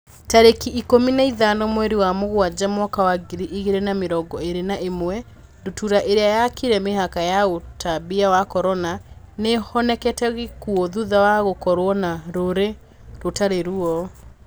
Tarĩki ikũmi na ithano mweri wa Mũgaa mwaka wa ngiri igĩrĩ na mĩrongo ĩrĩ na ĩmwe, ndutura ĩrĩa yakĩrire mĩhaka ya ũtambia wa Corona, nĩihonokete gĩkuo thutha wa gũkorwo na rũri rũtari ruo